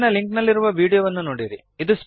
ಕೆಳಗಿನ ಲಿಂಕ್ ನಲ್ಲಿರುವ ವೀಡಿಯೋವನ್ನು ನೋಡಿರಿ